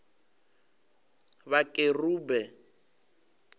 vhakerube